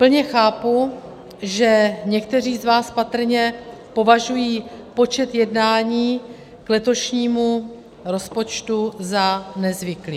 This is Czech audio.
Plně chápu, že někteří z vás patrně považují počet jednání k letošnímu rozpočtu za nezvyklý.